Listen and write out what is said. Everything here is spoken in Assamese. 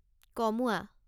কমোৱা